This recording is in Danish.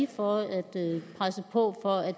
for at presse på for at